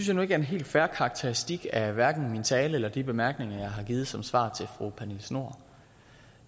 jeg nu ikke er en helt fair karakteristik af hverken min tale eller de bemærkninger jeg har givet som svar til fru pernille schnoor